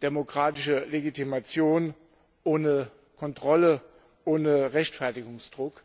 demokratische Legitimation, ohne Kontrolle, ohne Rechtfertigungsdruck.